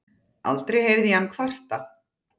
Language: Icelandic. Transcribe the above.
Aldrei heyrði ég hann kvarta.